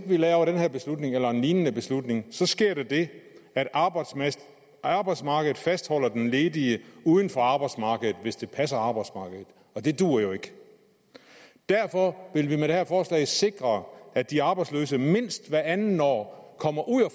her beslutning eller en lignende beslutning så sker der det at arbejdsmarkedet arbejdsmarkedet fastholder den ledige uden for arbejdsmarkedet hvis det passer arbejdsmarkedet og det duer jo ikke derfor vil vi med det her forslag sikre at de arbejdsløse mindst hvert andet år kommer ud og